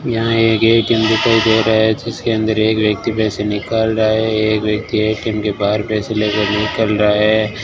यहां एक ए_टी_एम दिखाई दे रहा है जिसके अंदर एक व्यक्ति पैसे निकल रहा है एक व्यक्ति ए_टी_एम के बाहर पैसे लेकर निकल रहा है।